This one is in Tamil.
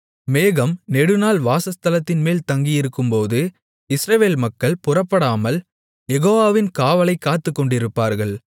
மேகம் நெடுநாள் வாசஸ்தலத்தின்மேல் தங்கியிருக்கும்போது இஸ்ரவேல் மக்கள் புறப்படாமல் யெகோவாவின் காவலைக் காத்துக்கொண்டிருப்பார்கள்